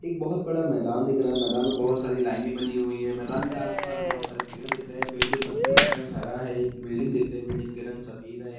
एक बहुत बड़ा मैदान दिख रहा है मैदान में बहुत सारी लाइने बनी हुई है मैदान के आसपास बहुत सारे पेड़ दिख रहे है पेड़ की पत्तियों का रंग हरा है एक बिल्डिंग दिख रहा है बिल्डिंग के रंग सफेद है।